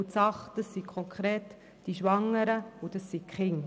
Die Sache, das sind konkret die Schwangeren und die Kinder.